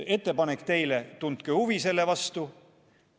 Ettepanek teile: tundke huvi selle vastu.